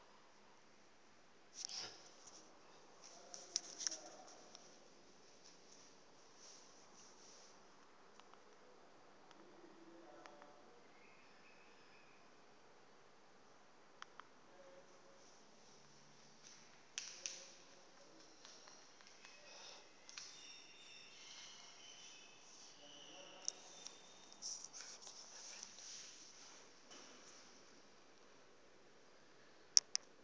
iziko